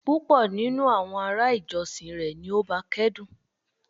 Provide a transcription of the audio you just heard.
Pupọ ninu awọn ará ìjọsìn rẹ ni ó báa kẹ́dùn